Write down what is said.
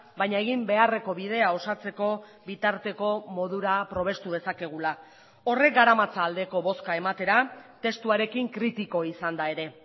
baina egin beharreko bidea osatzeko bitarteko modura probestu dezakegula horrek garamatza aldeko bozka ematera testuarekin kritiko izanda ere